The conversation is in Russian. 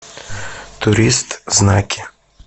турист знаки